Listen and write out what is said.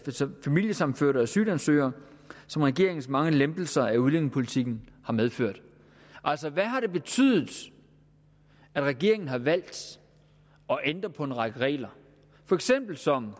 familiesammenførte og asylansøgere som regeringens mange lempelser af udlændingepolitikken har medført altså hvad har det betydet at regeringen har valgt at ændre på en række regler for eksempel som